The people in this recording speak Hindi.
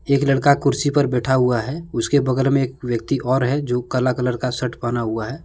एक लड़का कुर्सी पर बैठा हुआ है उसके बगल में एक व्यक्ति और है जो काला कलर का शर्ट पहना हुआ है।